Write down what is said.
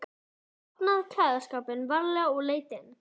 Hann opnaði klæðaskápinn varlega og leit inn.